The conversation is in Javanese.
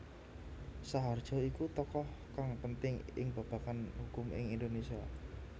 Saharjo iku tokoh kang penting ing babagan hukum ing Indonésia